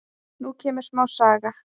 Nú kemur smá saga.